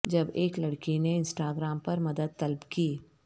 جب ایک لڑکی نے انسٹاگرام پر مدد طلب کی